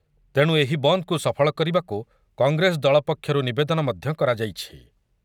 ତେଣୁ ଏହି ବନ୍ଦକୁ ସଫଳ କରିବାକୁ କଂଗ୍ରେସ ଦଳ ପକ୍ଷରୁ ନିବେଦନ ମଧ୍ୟ କରାଯାଇଛି ।